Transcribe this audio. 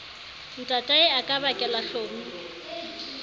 ntatae a ka bakela hlomi